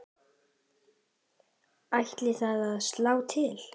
Ætlið þið að slá til?